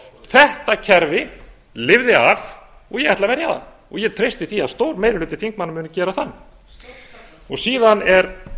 þetta kerfi lifði af og ég ætla að verja það og ég treysti því að stór meiri hluti þingmanna muni gera það síðan er